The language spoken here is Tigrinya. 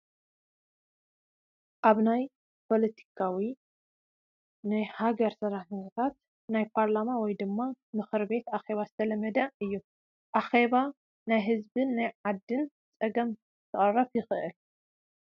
ኣብ ናይ ፖለቲካዊ ናይ ሃገር ስራሕቲታት ናይ ፓርላማ ወይ ድማ ናይ ምክርቤት ኣኼባ ዝተለመደ እዩ፡፡ ኣኼባ ናይ ህዝብን ናይ ዓድን ፀገም ክቐርፍ ይኽእል፡፡